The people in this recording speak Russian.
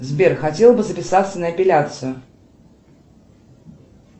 сбер хотела бы записаться на эпиляцию